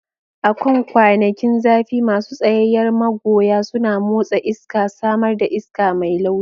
A kan kwanakin zafi, masu tsayayyar magoya suna motsa iska, samar da iska mai laushi.